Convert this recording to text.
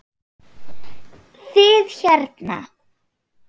Þið hérna.